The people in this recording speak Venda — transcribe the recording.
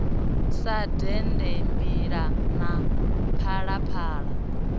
sa dende mbila na phalaphala